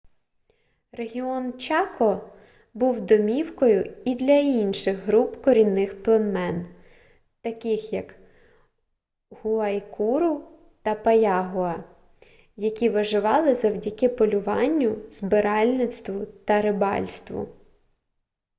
регіон чако був домівкою і для інших груп корінних племен таких як гуайкуру та паягуа які виживали завдяки полюванню збиральництву та рибальству